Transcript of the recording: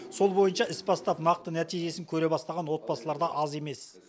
сол бойынша іс бастап нақты нәтижесін көре бастаған отбасылар да аз емес